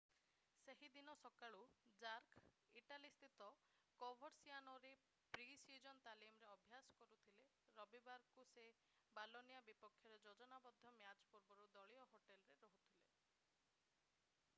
ସେହି ଦିନ ସକାଳୁ ଜାର୍କ ଇଟାଲୀ ସ୍ଥିତ କୋଭର୍ସିଆନୋରେ ପ୍ରି-ସିଜନ୍ ତାଲିମରେ ଅଭ୍ୟାସ କରୁଥିଲେ ରବିବାରକୁ ସେ ବୋଲୋନିଆ ବିପକ୍ଷରେ ଯୋଜନାବଦ୍ଧ ମ୍ୟାଚ୍ ପୂର୍ବରୁ ଦଳୀୟ ହୋଟେଲରେ ରହୁଥିଲେ